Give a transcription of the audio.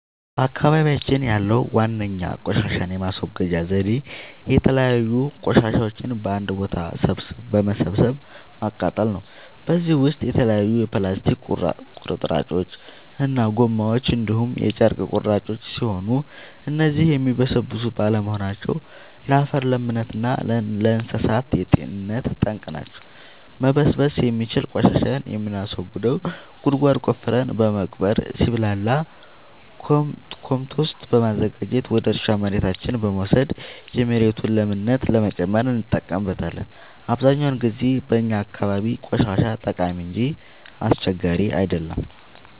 በአካባቢያችን ያለዉ ዋነኛ ቆሻሻን የማስወገጃ ዘዴ የተለያዩ ቆሻሻዎችን በአንድ ቦታ በመሰብሰብ ማቃጠል ነው። በዚህም ውስጥ የተለያዩ የፕላስቲክ ቁርጥራጮች እና ጎማዎች እንዲሁም የጨርቅ ቁራጮች ሲሆኑ እነዚህም የሚበሰብሱ ባለመሆናቸው ለአፈር ለምነት እና ለእንሳሳት ጤንነት ጠንቅ ናቸው። መበስበስ የሚችል ቆሻሻን የምናስወግደው ጉድጓድ ቆፍረን በመቅበር ሲብላላ ኮምቶስት በማዘጋጀት ወደ እርሻ መሬታችን በመውሰድ የመሬቱን ለምነት ለመጨመር እንጠቀምበታለን። አብዛኛውን ጊዜ በእኛ አካባቢ ቆሻሻ ጠቃሚ እንጂ አስቸጋሪ አይደለም።